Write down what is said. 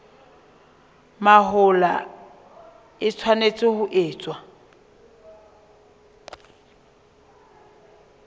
mahola e tshwanetse ho etswa